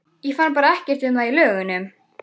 Ég fann bara ekkert um það í lögunum.